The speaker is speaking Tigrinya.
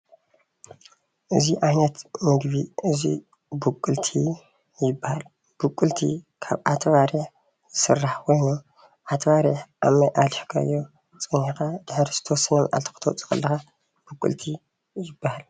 እዚ ዓይነት ምግቢ እዙይ ቡቅልቲ ይበሃል። ቡቅልቲ ካብ ዓተባሪሕ ዝስራሕ ኾይኑ ዓተባሪሕ ኣብ ማይ ኣሊኽካዮ ፀኒሕኻ ድሕሪ ዝተወሰነ መዓልቲ ኽተውፅኦ ኸለኻ ቡቅልቲ ይበሃል።